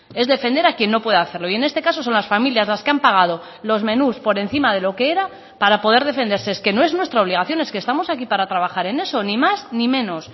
es defender a quien no puede hacerlo y en este caso son las familias las que han pagado los menús por encima de lo que era para poder defenderse es que no es nuestra obligación es que estamos aquí para trabajar en eso ni más ni menos